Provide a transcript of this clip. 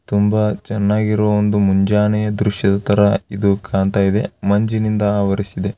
ತುಂಬಾ ಚೆನ್ನಾಗಿರುವ ಮುಂಜಾನೆಯ ಒಂದು ದೃಶ್ಯದ ತರ ಕಾಣ್ತಾ ಇದೆ ಮಂಜಿನಿಂದ ಆವರಿಸಿದೆ.